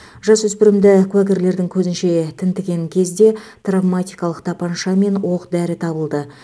жасөспірімді куәгерлердің көзінше тінтіген кезде травматикалық тапанша мен оқ дәрі табылды